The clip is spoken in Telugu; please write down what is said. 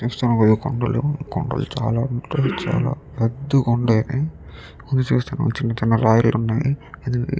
ఇక్కడ చూస్తున్నాము చాలా కొండలు చాలా ఉన్నాయి పెద్ద కొండలు చిన్నచిన్న రాళ్లు ఉన్నాయి ఇది --